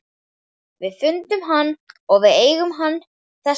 Við fundum hann og við eigum hann þess vegna.